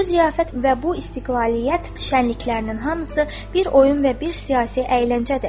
Bu ziyafət və bu istiqlaliyyət şənliklərinin hamısı bir oyun və bir siyasi əyləncədir.